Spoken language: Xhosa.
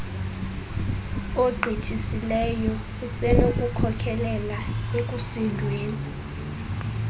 ogqithisileyo usenokukhokelela ekusindweni